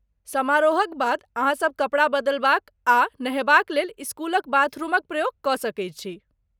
समारोहक बाद अहाँसब कपड़ा बदलबाक आ नहयबाक लेल इस्कूलक बाथरुमक प्रयोग कऽ सकैत छी।